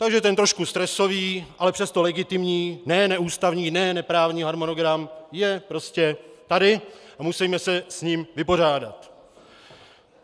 Takže ten trošku stresový, ale přesto legitimní, ne neústavní, ne neprávní harmonogram je prostě tady a musíme se s ním vypořádat.